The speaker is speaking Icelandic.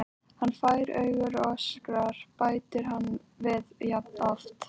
Hann fær augu og öskrar, bætir hann við jafn oft.